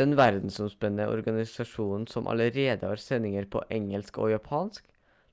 den verdensomspennende organisasjonen som allerede har sendinger på engelsk og japansk